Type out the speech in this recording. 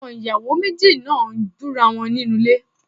Àwọn ìyàwó méjì náà ń búra wọn nínú ilé.